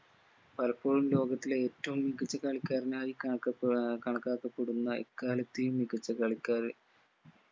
പലപ്പോഴും ലോകത്തിലെ ഏറ്റവും മികച്ച കളിക്കാരനായി കണക്കപ്പെ ആഹ് കണക്കാക്കപ്പെടുന്ന എക്കാലത്തെയും മികച്ച കളിക്കാര്